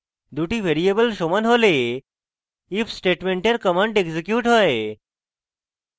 দুটি ভ্যারিয়েবল সমান হলে if স্টেটমেন্টের commands এক্সিকিউট হয়